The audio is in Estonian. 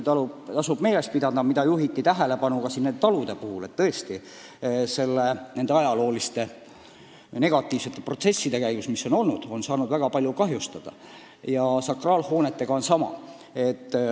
Talude puhul on tähelepanu juhitud, et nende ajalooliste negatiivsete protsesside käigus on need saanud väga palju kahjustada ja sakraalhoonetega on ju sama.